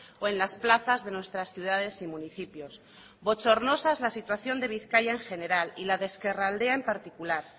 o en las plazas de nuestras ciudades y municipios bochornosa es la situación de bizkaia en general y la de ezkerraldea en particular